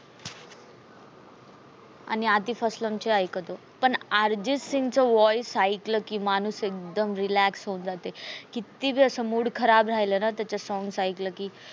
आणि आतिफ अस्लम चे ऐकतो. पण अर्जित सिंगचे voice ऐकलं की माणूस एकदम relax होऊन जातो. किती बी अस mood खराब राहील न त्याच song एकले की